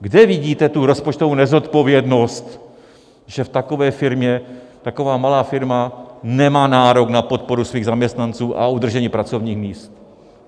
Kde vidíte tu rozpočtovou nezodpovědnost, že v takové firmě, taková malá firma nemá nárok na podporu svých zaměstnanců a udržení pracovních míst?